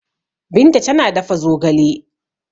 Binta tana dafa zogale.